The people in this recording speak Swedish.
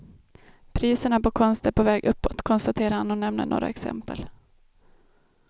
Priserna på konst är på väg uppåt, konstaterar han och nämner några exempel.